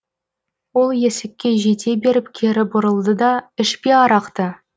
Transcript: ол есікке жете беріп кері бұрылды да ішпе арақты